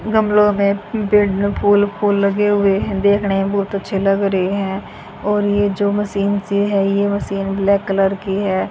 गमलों में फूल पेड़ फूल फूल लगे हुए हैं देखने मे बहुत अच्छे लग रहे हैं और ये जो मशीन सी है ये मशीन ब्लैक कलर कि है।